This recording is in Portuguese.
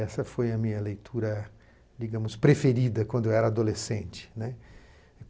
Essa foi a minha leitura, digamos, preferida quando eu era adolescente, né.